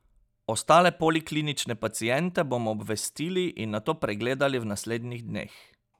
Ostale poliklinične paciente bomo obvestili in nato pregledali v naslednjih dneh.